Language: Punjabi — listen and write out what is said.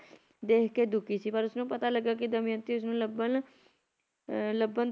ਦੇਖਕੇ ਦੁਖੀ ਸੀ ਪਰ ਉਸਨੂੰ ਪਤਾ ਲੱਗਾ ਕੀ ਦਮਿਅੰਤੀ ਉਸਨੂੰ ਲੱਭਣ ਅਹ ਲੱਭਣ